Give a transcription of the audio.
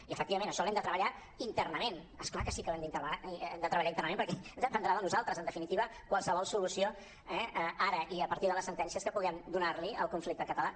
i efectivament això ho hem de treballar internament és clar que sí que ho hem de treballar internament perquè dependrà de nosaltres en definitiva qualsevol solució eh ara i a partir de les sentències que puguem donar li al conflicte català